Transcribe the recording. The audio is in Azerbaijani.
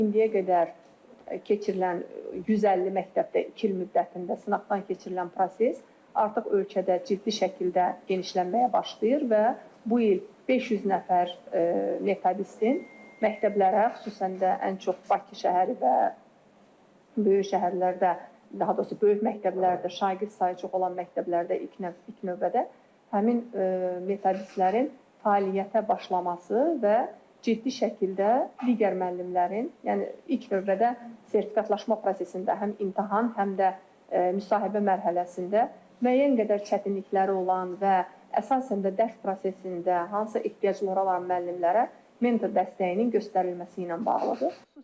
İndiyə qədər keçirilən 150 məktəbdə iki il müddətində sınaqdan keçirilən proses artıq ölkədə ciddi şəkildə genişlənməyə başlayır və bu il 500 nəfər metodistin məktəblərə, xüsusən də ən çox Bakı şəhəri və böyük şəhərlərdə daha doğrusu böyük məktəblərdə şagird sayı çox olan məktəblərdə ilk növbədə həmin metodistlərin fəaliyyətə başlaması və ciddi şəkildə digər müəllimlərin, yəni ilk növbədə sertifikatlaşma prosesində həm imtahan, həm də müsahibə mərhələsində müəyyən qədər çətinlikləri olan və əsasən də dərs prosesində hansısa ehtiyacları olan müəllimlərə mentor dəstəyinin göstərilməsi ilə bağlıdır.